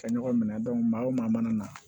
Ka ɲɔgɔn minɛ maa o maa mana na